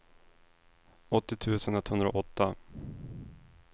åttio tusen etthundraåtta